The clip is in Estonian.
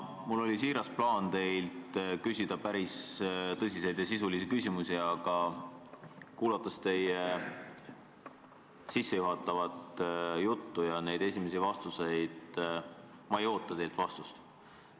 Mul oli siiras plaan teilt küsida päris tõsiseid ja sisulisi küsimusi, aga kuulates teie sissejuhatavat juttu ja neid esimesi vastuseid, ei oota ma teilt vastust.